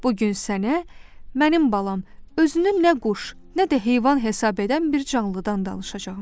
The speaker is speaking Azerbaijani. Bu gün sənə, mənim balam, özünü nə quş, nə də heyvan hesab edən bir canlıdan danışacağam.